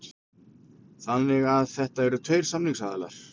Þannig að þetta eru tveir samningsaðilar